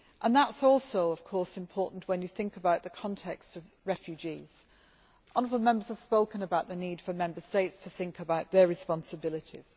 This is also important when you think about the context of refugees. Honourable Members have spoken about the need for Member States to think about their responsibilities.